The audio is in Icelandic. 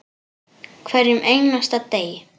Hverjum einasta degi.